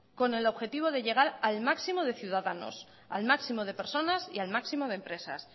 con el objetivo de llegar al máximo de ciudadanos al máximo de personas y al máximo de empresas